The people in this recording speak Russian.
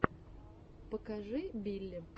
покажи билли